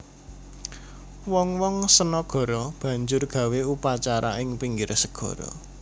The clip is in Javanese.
Wong wong sanagara banjur gawé upacara ing pinggir segara